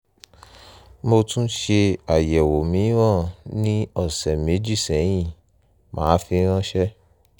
mo tún ṣe àyẹ̀wò mìíràn ní ọ̀sẹ̀ méjì sẹ́yìn màá sì fi ránṣẹ́